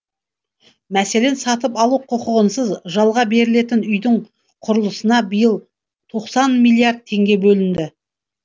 мәселен сатып алу құқығынсыз жалға берілетін үйдің құрылысына биыл тоқсан миллиард теңге бөлінді